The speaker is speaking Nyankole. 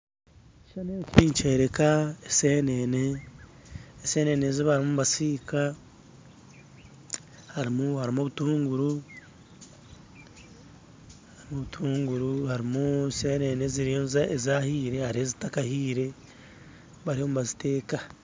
Ekishuushani eki nikyoreka eseenene, eseenene ezibarimu nibasiika harimu obutuunguru harimu eseenene ezahiire harimu ezitakahire bariyo nibaziteeka